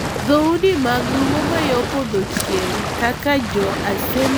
Dhoudi mag luo ma yo podho chieng', kaka Jo Asembo kod Rarieda,